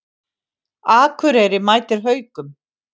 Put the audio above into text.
Akureyri mætir Haukum